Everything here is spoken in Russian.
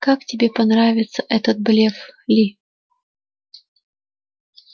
как тебе понравился этот блеф ли